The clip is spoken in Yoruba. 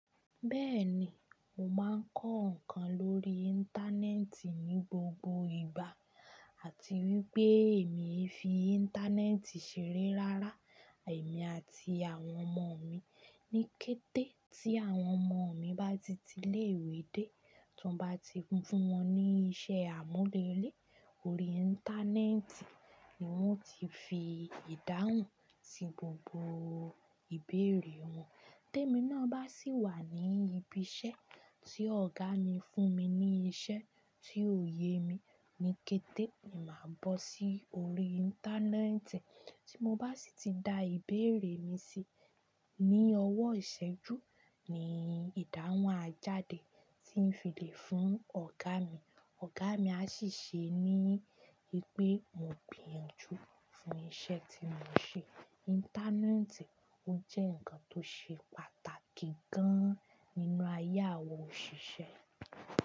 Bẹ́ẹ̀ni, mo máa ń kọ́ nǹkan lórí Íńtánẹ́ẹ̀tì ní gbogbo ìgbà àti wípé èmi fi Íńtánẹ́ẹ̀tì ṣeré rárá, èmi àti àwọn ọmọ mi ní kété tí àwọn ọmọ mi bá ti ti ilé-ìwé dé, tí wọ́n bá ti fún wọn ní iṣẹ́ àmúrelé, orí Íńtánẹ́ẹ̀tì ni wón ti fi ìdáhùn sí gbogbo ìbéèrè wọn. Tẹ́mi náà bá sì wà ní ibi iṣẹ́ tí ọ̀gá mi fún mi ní iṣẹ́ tí ò ye mi ní kété, ni màá bọ́ sí orí Íńtánẹ́ẹ̀tì, tí mo bá sì ti da ìbéèrè mi si, ní ọwọ́ ìṣẹ́jú ni ìdáhùn a jáde tí n fi le fún ọ̀gá mi, ọ̀gá mi a sì ṣe ní pé mo gbinyanju fún iṣẹ́ tí mo ń ṣe. Íńtánẹ́ẹ̀tì ó jẹ́ nǹkan tó ṣe pàtàkì gan-an nínú ayé àwọn òṣìṣẹ́